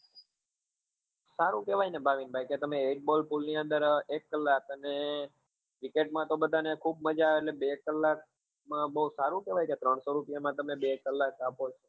સારું કેવાય ને ભાવિન ભાઈ કે તમે એક ball pull ની અંદર એક કલાક અને cricket માં તો બધા ને ખુબ મજા આવે એટલે બે કલાક માં બહુ સારું કેવાય કે ત્રણસો રૂપિયા માં તમે બે કલાક આપો